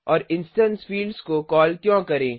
और instance fields को call क्यों करें